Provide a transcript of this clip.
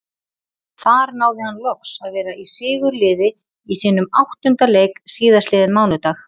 Þar náði hann loks að vera í sigurliði í sínum áttunda leik síðastliðinn mánudag.